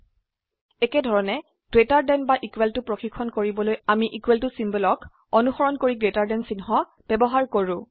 একেধৰনে greater than বা equal to পৰিক্ষন কৰিবলৈ আমি ইকোৱেল ত symbolঅক অনুসৰন কৰি গ্ৰেটাৰ দেন চিহ্ন ব্যবহাৰ কৰো